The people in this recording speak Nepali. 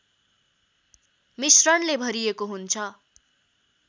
मिश्रणले भरिएको हुन्छ